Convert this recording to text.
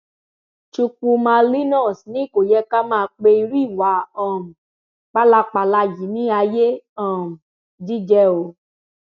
chukwuma linus ni kò yẹ ká máa pe irú ìwà um pálapàla yìí ní ayé um jíjẹ o